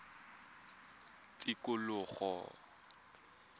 tikologo